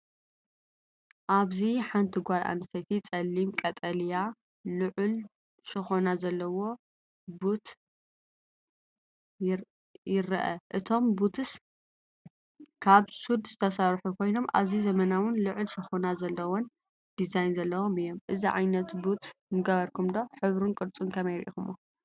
ኣብዚ ሓነቲ ጓል ኣነስተይቲ ጸሊም ቀጠልያ ልዑል ሸኾና ዘለዎ ቡት ይርአ። እቶም ቡትስ ካብ ሱድ ዝተሰርሑ ኮይኖም ኣዝዩ ዘመናውን ልዑል ሸኾና ዘለዎን ዲዛይን ዘለዎም እዮም። እዚ ዓይነት ቡት ምገበርኩም ዶ? ሕብሩን ቅርጹን ኸመይ ሪእኩሞ?